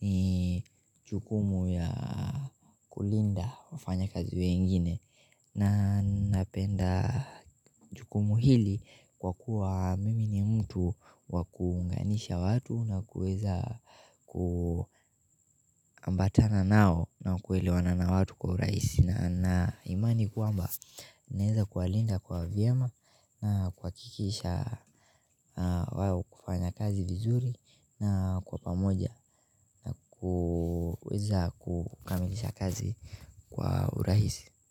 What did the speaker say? ni jukumu ya kulinda wafanyakazi wengine na napenda jukumu hili kwa kuwa mimi ni mtu wa kuunganisha watu na kuweza kuambatana nao na kuelewana na watu kwa urahisi na imani kwamba naeza kuwalinda kwa vyema na kuhakikisha wao hufanya kazi vizuri na kwa pamoja na kuweza kukamilisha kazi kwa urahisi.